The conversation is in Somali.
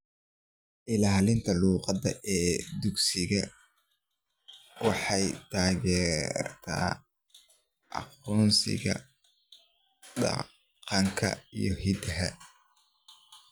Ilaalinta luqadda ee dugsiyada waxay taageertaa aqoonsiga dhaqanka iyo hidaha.